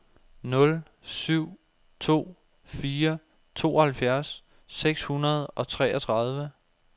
nul syv to fire tooghalvfjerds seks hundrede og treogtredive